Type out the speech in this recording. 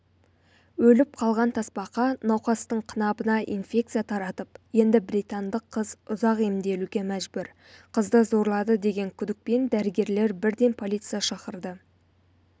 өліп қалған тасбақа науқастың қынабына инфекция таратып енді британдық қыз ұзақ емделуге мәжбүр қызды зорлады деген күдікпен дәрігерлер бірден полиция шақырды